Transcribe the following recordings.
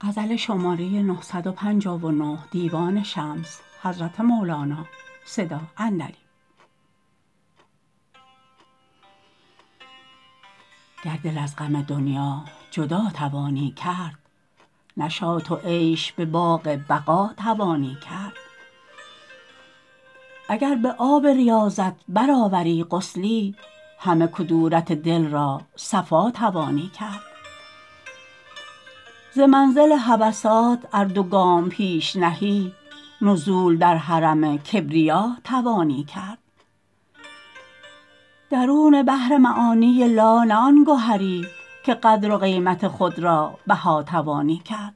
اگر دل از غم دنیا جدا توانی کرد نشاط و عیش به باغ بقا توانی کرد اگر به آب ریاضت برآوری غسلی همه کدورت دل را صفا توانی کرد ز منزل هوسات ار دو گام پیش نهی نزول در حرم کبریا توانی کرد درون بحر معانی لا نه آن گهری که قدر و قیمت خود را بها توانی کرد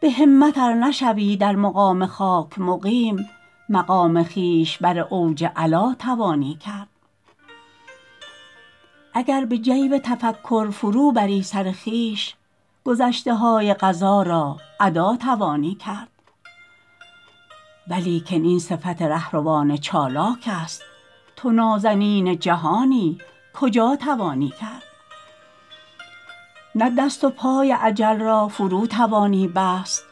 به همت ار نشوی در مقام خاک مقیم مقام خویش بر اوج علا توانی کرد اگر به جیب تفکر فروبری سر خویش گذشته های قضا را ادا توانی کرد ولیکن این صفت ره روان چالاکست تو نازنین جهانی کجا توانی کرد نه دست و پای اجل را فرو توانی بست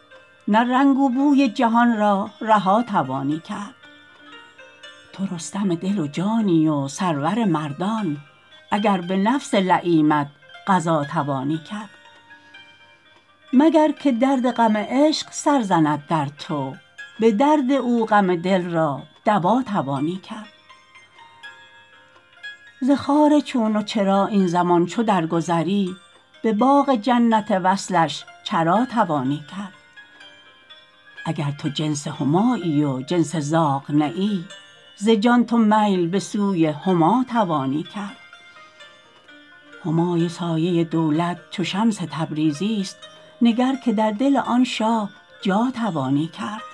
نه رنگ و بوی جهان را رها توانی کرد تو رستم دل و جانی و سرور مردان اگر به نفس لییمت غزا توانی کرد مگر که درد غم عشق سر زند در تو به درد او غم دل را دوا توانی کرد ز خار چون و چرا این زمان چو درگذری به باغ جنت وصلش چرا توانی کرد اگر تو جنس همایی و جنس زاغ نه ای ز جان تو میل به سوی هما توانی کرد همای سایه دولت چو شمس تبریزیست نگر که در دل آن شاه جا توانی کرد